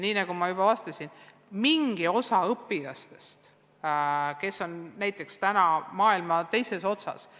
Nagu ma juba ütlesin, mingisugune osa õpilastest viibib täna näiteks maailma teises otsas.